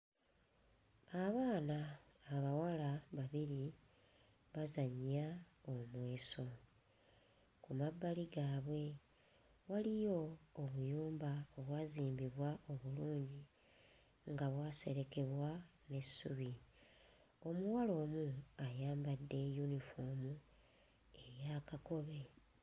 Abaana abawala babiri bazannya omweso. Ku mabbali gaabwe waliyo obuyumba obwazimbibwa obulungi nga bwaserekebwa n'essubi. Omuwala omu ayambadde yunifoomu eya kakobe.